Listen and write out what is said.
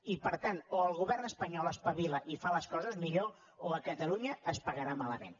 i per tant o el govern espanyol espavila i fa les coses millor o a catalunya es pagarà malament